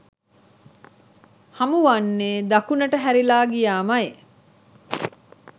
හමුවන්නේ දකුණට හැරිලා ගියාමයි.